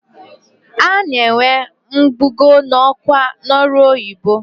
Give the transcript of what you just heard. A na-enwe mbugo n'ọkwa n'ọrụ oyibo.